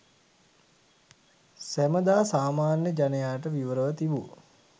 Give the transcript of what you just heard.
සැමදා සාමාන්‍ය ජනයාට විවරව තිබූ